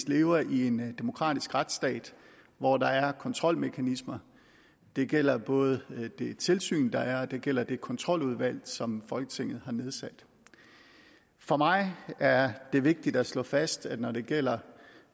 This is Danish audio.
leve i en demokratisk retsstat hvor der er kontrolmekanismer det gælder både det tilsyn der er og det gælder det kontroludvalg som folketinget har nedsat for mig er det vigtigt at slå fast at når det gælder